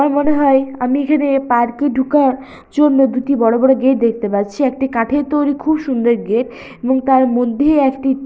আমার মনে হয় আমি এখানে পার্ক -এ ঢুকার জন্য দুটি বড় বড় গেট দেখতে পাচ্ছি। একটি কাঠের তৈরি খুব সুন্দর গেট এবং তার মধ্যে একটি--